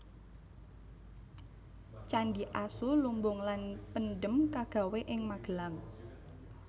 Candhi Asu lumbung lan Pendhem kagawé ing Magelang